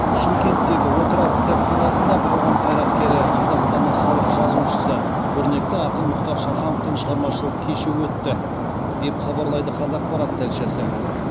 шымкенттегі отырар кітапханасында қоғам қайраткері қазақстанның халық жазушысы көрнекті ақын мұхтар шахановтың шығармашылық кеші өтті деп хабарлайды қазақпарат тілшісі